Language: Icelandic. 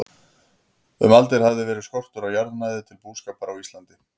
Um aldir hafði verið skortur á jarðnæði til búskapar á Íslandi.